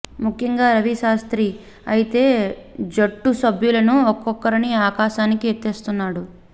ముఖ్యంగా రవి శాస్త్రి అయితే జట్టు సభ్యులను ఒక్కొక్కరిని ఆకాశానికి ఎత్తేస్తున్నాడు